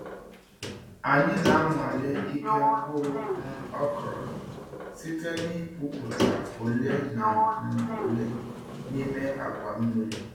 Anyị na-anwale ike mkpụrụ um okra site na ipupụta ole na um ole n'ime akwa mmiri.